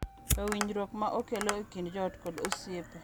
To winjruok ma okelo e kind joot kod osiepe.